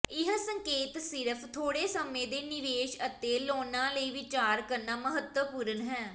ਇਹ ਸੰਕੇਤ ਸਿਰਫ ਥੋੜੇ ਸਮੇਂ ਦੇ ਨਿਵੇਸ਼ ਅਤੇ ਲੋਨਾਂ ਲਈ ਵਿਚਾਰ ਕਰਨਾ ਮਹੱਤਵਪੂਰਨ ਹੈ